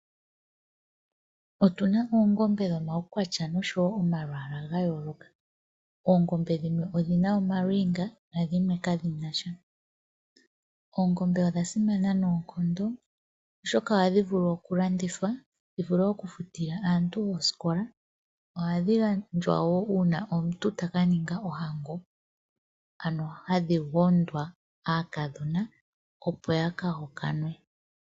Otuna oongombe dhomawu kwatya noshowo omalwaala gayooloka. Oongombe dhimwe odhina omalwiinga nadhimwe kadhinasha. Oongombe odha simana noonkondo oshoka ohadhi vulu oku landithwa dhivule oku futila aantu oosikola. Ohadhi gandjwa wo uuna omuntu taka niinga ohango, ano hadhi gondwa aakadhona opo yaka hokanwe.